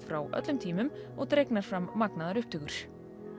frá öllum tímum og dregnar fram magnaðar upptökur